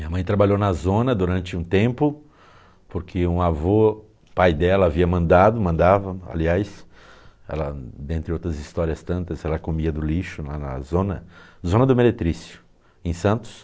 Minha mãe trabalhou na zona durante um tempo, porque um avô, pai dela, havia mandado, mandava, aliás, ela dentre outras histórias tantas, ela comia do lixo na zona zona do Meretricio, em Santos.